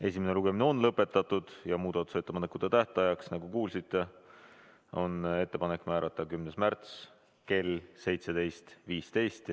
Esimene lugemine on lõpetatud ja muudatusettepanekute tähtajaks, nagu kuulsite, on ettepanek määrata 10. märts kell 17.15.